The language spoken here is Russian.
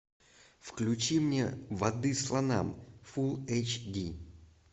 включи мне воды слонам фулл эйч ди